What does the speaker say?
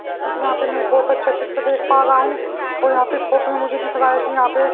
यहां पे मैं एक बहुत अच्छा चित्र देख पा रहा हूं और यहां पे इस फोटो में मुझे दिख रहा है कि यहां पे--